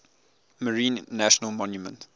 marine national monument